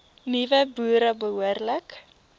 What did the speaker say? nuwe boere behoorlik